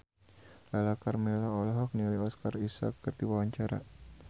Lala Karmela olohok ningali Oscar Isaac keur diwawancara